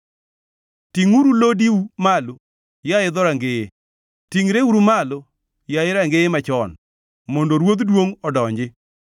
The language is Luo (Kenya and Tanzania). tingʼuru lodiu malo, yaye dhorangeye; tingʼreuru malo, yaye rangeye machon, mondo Ruodh duongʼ odonji.